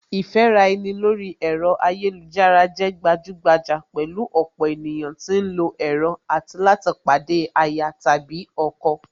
Ìfẹ́ra ẹni lórí ẹ̀rọ ayélujára lè gbajúgbajà pẹ̀lú ọ̀pọ̀ ènìyàn tí ń lọ ẹ̀rọ tí láti pàdé aya/ ọkọ